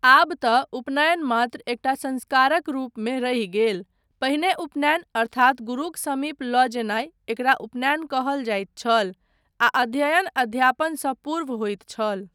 आब तँ उपनयन मात्र एकटा संस्कारक रूपमे रहि गेल, पहिने उपनयन अर्थात गुरुक समीप लऽ जेनाय, एकरा उपनयन कहल जाइत छल आ अध्ययन अध्यापनसँ पूर्व होइत छल।